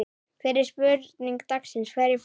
Fyrri spurning dagsins: Hverjir falla?